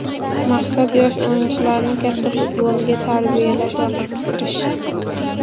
Maqsad yosh o‘yinchilarni katta futbolga tarbiyalash va qiziqtirish.